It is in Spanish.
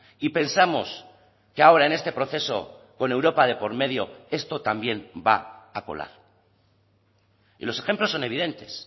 y pensamos que ahora en este proceso con europa de por medio esto también va a colar y los ejemplos son evidentes